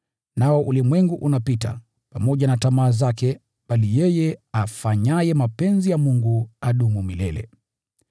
Nao ulimwengu unapita, pamoja na tamaa zake, bali yeye afanyaye mapenzi ya Mungu adumu milele.